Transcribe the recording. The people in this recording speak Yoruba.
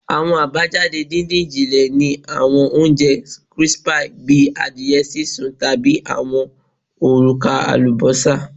Awọn abajade didin-jinle ni awọn ounjẹ crispy bi adiẹ sisun tabi awọn oruka alubosa